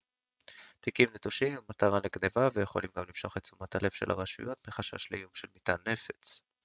תיקים נטושים הם מטרה לגנבה ויכולים גם למשוך את תשומת הלב של הרשויות מחשש לאיום של מטען נפץ